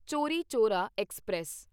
Chauri Chaura express